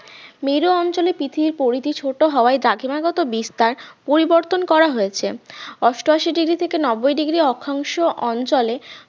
মেরু অঞ্চলে পৃথিবীর পরিধি ছোট হওয়ায় দ্রাঘিমা গত বিস্তার পরিবর্তন করা হয়েছে অষ্টআশি degree থেকে নব্বই degree অক্ষাংশ অঞ্চলে